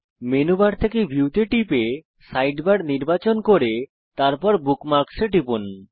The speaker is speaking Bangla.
মেনু বার থেকে ভিউ তে টিপুন সাইডবার নির্বাচন করে তারপর বুকমার্কস এ টিপুন